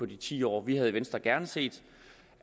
de ti år vi havde i venstre gerne set